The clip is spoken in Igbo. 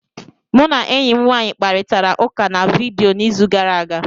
Mụ na enyi m nwaanyị kparịtara ụka na vidiyo n'izu gara aga.